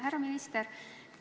Härra minister!